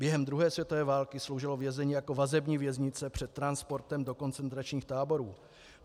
Během druhé světové války sloužilo vězení jako vazební věznice před transportem do koncentračních táborů.